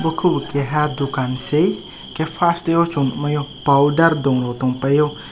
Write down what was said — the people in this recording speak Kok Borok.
oko o keha dukan se enkke fast tahh chung naio powder dungo tong paio.